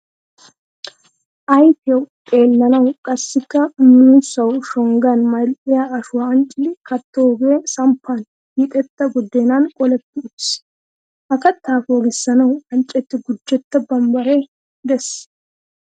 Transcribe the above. Ayfiyawu xeelawu qassikka muussawu shonggan mal"iya ashuwa anccidi kattoogee samppan hiixetta buddeenan qooletti uttiis. Ha kattaa poogissanawu anccetti gujetta bambbaree de'es.